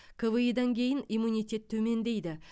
кви дан кейін иммунитет төмендейді